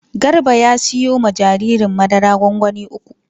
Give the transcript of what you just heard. Garba ya siyo ma jaririn madara gwangwani uku.